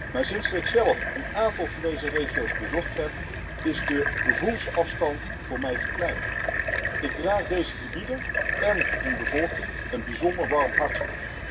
Maar sinds ik zelf een aantal van deze regio's bezocht heb, is de gevoelsafstand voor mij verkleind. Ik draag deze gebieden en hun bevolking een bijzonder warm hart toe.